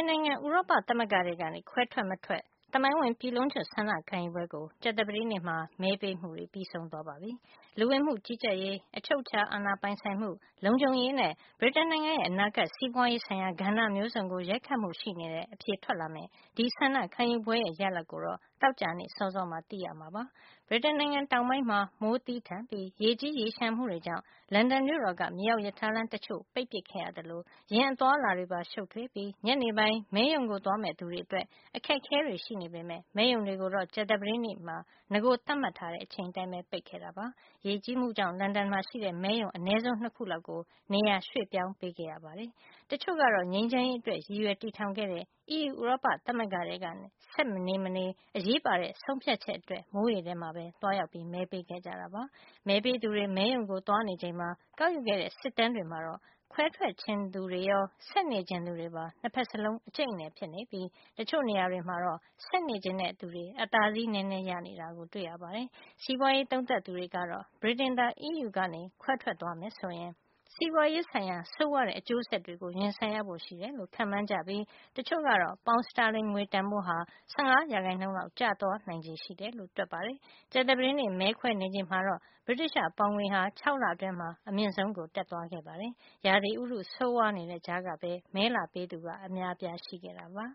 နိုင်ငံ ဥရောပသမဂ္ဂထဲကနေ ခွဲထွက်မထွက် သမိုင်းဝင် ပြည်လုံးကျွတ် ဆန္ဒခံယူပွဲကို ကြာသပတေးနေ့မှာ မဲပေးမှုတွေ ပြီးဆုံးသွားပါပြီ။ လူဝင်မှုကြီးကြပ်ရေး၊ အချုပ်အချာ အာဏာပိုင်ဆိုင်မှု၊ လုံခြုံရေးနဲ့ ဗြိတိန်နိုင်ငံရဲ့ အနာဂါတ် စီးပွါးရေးဆိုင်ရာ ကဏ္ဍမျိုးစုံကို ရိုက်ခတ်မှု ရှိနေတဲ့ အဖြေထွက်လာမယ့် ဒီဆန္ဒခံယူပွဲရဲ့ ရလဒ်ကိုတော့ သောကြာနေ့ စောစောမှာ သိရမှာပါ။ ဗြိတိန်နိုင်ငံတောင်ပိုင်းမှာ မိုးသည်းထန်ပြီး ရေကြီးရေလျှံမှုတွေကြောင့် လန်ဒန်မြို့တော်က မြေအောက်ရထားလမ်း တချို့ ပိတ်ပစ်ခဲ့ရသလို ယာဉ် အသွားအလာတွေပါ ရှုပ်ထွေးပြီး ညနေပိုင်း မဲရုံသွားမယ့် သူတွေအတွက် အခက်ခဲတွေ ရှိနေပေမယ့် မဲရုံတွေကိုတော့ ကြာသပတေး နေ့မှာ နဂို သတ်မှတ်ချိန်အတိုင်းပဲ ပိတ်ခဲ့တာပါ။ ရေကြီးမှုကြောင့် လန်ဒန်မှာ ရှိတဲ့ မဲရုံ အနဲဆုံး ၂ ခုလောက်ကို နေရာရွှေ့ပြောင်း ပေးခဲ့ရ ပါတယ်။ တချို့ကတော့ ငြိမ်းချမ်းရေးအတွက် ရည်ရွယ်တည်ထောင်ခဲ့တဲ့ အီးယူ ဥရောပသမဂ္ဂထဲ ဆက်နေမနေ အရေးပါတဲ့ ဆုံးဖြတ်ချက်အတွက် မိုးထဲရေထဲ မှာပဲ သွားရောက်မဲပေးခဲ့ကြတာပါ။ မဲပေးသူတွေ မဲရုံတွေကို သွားနေချိန်မှာပဲ ကောက်ယူခဲ့တဲ့ စစ်တမ်းတွေမှာတော့ ခွဲထွက်ချင်သူတွေရော ဆက်နေချင်သူတွေပါ ၂ ဖက်စလုံး အကြိတ်အနယ် ဖြစ်နေပြီး တချို့နေရာတွေမှာ ဆက်နေချင်တဲ့ သူတွေ အသာစီးနဲနဲ ရနေတာ တွေ့ရပါတယ်။ စီးပွါးရေး သုံးသပ်သူတွေကတော့ ဗြိတိန်သာ အီးယူကနေ ထွက်သွားမယ်ဆိုရင် စီးပွါးရေးဆိုင်ရာ ဆိုးဝါးတဲ့ အကျိုးဆက်တွေကို ရင်ဆိုင်ရဖို့ ရှိတယ်လို့ ခန့်မှန်းကြပြီး တချို့ကတော့ ပေါင်စတာလင်ငွေတန်ဖိုးဟာ ၁၅ ရာခိုင်နှုန်းလောက် ကျသွားနိုင်ချေရှိတယ်လို့ တွက်ပါတယ်။ ကြာသပတေးနေ့ မဲခွဲနေချိန်မှာတော့ ဗြိတိသျှ ပေါင်ငွေဟာ ၆ လအတွင်း အမြင့်ဆုံးကို တက်သွားခဲ့တာပါ။ ရာသီဥတု ဆိုးဝါးနေတဲ့ကြားကပဲ မဲလာပေးသူ အများ အပြားရှိခဲ့ပါ